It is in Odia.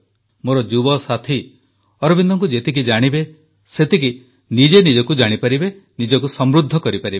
ମୋର ଯୁବସାଥୀ ଶ୍ରୀଅରବିନ୍ଦଙ୍କୁ ଯେତିକି ଜାଣିବେ ସେତିକି ନିଜେ ନିଜକୁ ଜାଣିପାରିବେ ନିଜକୁ ସମୃଦ୍ଧ କରିପାରିବେ